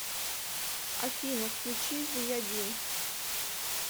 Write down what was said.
афина включи зияддин